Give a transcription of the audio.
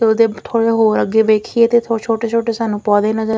ਉਹਦੇ ਥੋੜ੍ਹਾ ਹੋਰ ਅੱਗੇ ਦੇਖੀਏ ਤੇ ਛੋਟੇ ਛੋਟੇ ਸਾਨੂੰ ਪੌਦੇ ਨਜ਼ਰ --